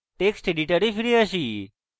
text editor ফিরে আসি